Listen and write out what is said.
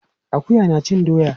Akuya na cin doya.